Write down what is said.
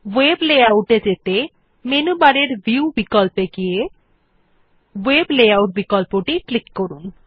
ভেব layout এ যেতে menu বারের ভিউ বিকল্পে গিয়ে ভেব লেআউট বিকল্পে ক্লিক করুন